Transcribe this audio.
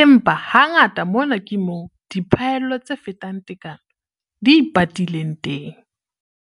empa hangata mona ke moo "diphaello tse fetang tekano" di ipatileng teng.